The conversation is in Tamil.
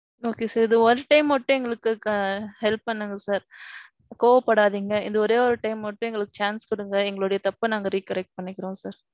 Okay sir. இந்த ஓரு time மட்டும் எங்களுக்கு ~ help பண்ணுங்க sir. கோவ படாதீங்க. இந்த ஒரேயொரு time மட்டும் எங்களுக்கு chance குடுங்க. எங்களோட தப்ப நாங்க recorrect பண்ணிக்கிறோம் sir.